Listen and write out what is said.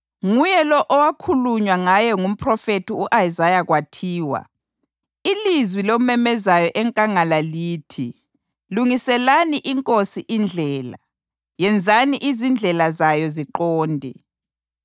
Nguye lo okwakhulunywa ngaye ngumphrofethi u-Isaya kwathiwa: “Ilizwi lomemezayo enkangala lithi, ‘Lungiselani iNkosi indlela, yenzani izindlela zayo ziqonde.’ + 3.3 U-Isaya 40.3”